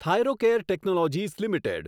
Thyrocare Technologies limited